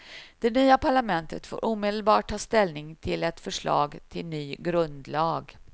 Det nya parlamentet får omedelbart ta ställning till ett förslag till ny grundlag.